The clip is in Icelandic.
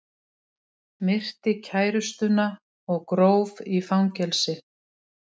Myrti kærustuna og gróf í fangelsi